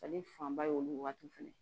Ale fanba ye olu waati fɛnɛ